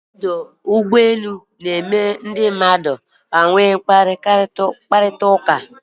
Ọdụ ụgbọ elu na-eme mkparịta ụka ọsọ ọsọ mana na-atọ ụtọ